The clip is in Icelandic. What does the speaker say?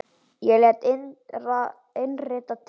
Ég lét innrita mig í